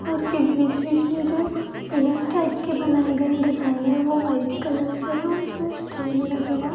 उसके बीच-बीच में जो पिल्लर्स टाइप के बनाए गए हैं डिजाइनर वो वाइट कलर से हैं और उसमें स्टील लगा हुआ है।